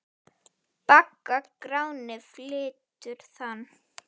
Bagga Gráni flytur þann.